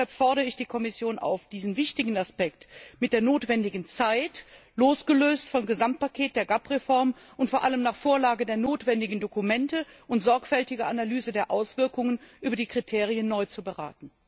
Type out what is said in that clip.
Deshalb fordere ich die Kommission auf, diesen wichtigen Aspekt mit der notwendigen Zeit, losgelöst vom Gesamtpaket der GAP Reform und vor allem nach Vorlage der notwendigen Dokumente und sorgfältiger Analyse der Auswirkungen über die Kriterien neu zu beraten.